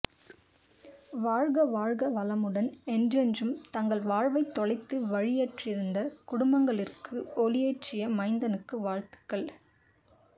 வாழ்க வாழ்க வளமுடன் என்றென்றும் தங்கள் வாழ்வை தொலைத்து வழியற்றிருந்த குடும்பங்களிற்கு ஒளியேற்றிய மைந்தனுக்கு வாழ்த்துக்கள்